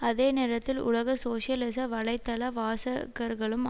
அதே நேரத்தில் உலக சோசியலிச வலைத்தள வாசகர்களும்